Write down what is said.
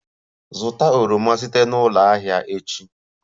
Zụta oroma site na ụlọ ahịa echi!